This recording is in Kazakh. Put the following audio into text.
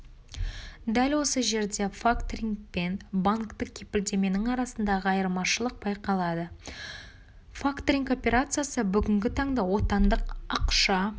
дәл осы жерде факторинг пен банктік кепілдеменің арасындағы айырмашылық байқалады факторинг операциясы бүгінгі таңда отандық ақша